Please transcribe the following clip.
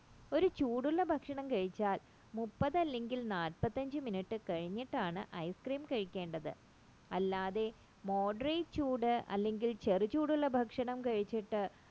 ഒരു ചൂടുള്ള ഭക്ഷണം കഴിച്ചാൽ thirty അല്ലെങ്കിൽ fortyfiveminute കഴിഞ്ഞിട്ടാണ് ice cream കഴിക്കേണ്ടത് അല്ലാതെ moderate ചൂട് അല്ലെങ്കിൽ ചെറു ചൂടുള്ള ഭക്ഷണം കഴിച്ചിട്ട്